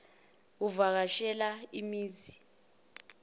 uvaka shela imizi